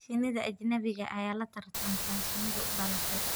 Shinnida ajnabiga ah ayaa la tartanta shinnida u dhalatay.